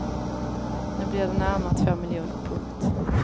Nu blir det närmare två miljoner. punkt